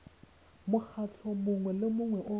mokgatlho mongwe le mongwe o